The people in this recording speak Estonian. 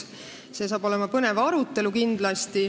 See saab kindlasti olema põnev arutelu.